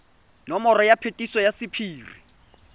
nomoro ya phetiso ya sephiri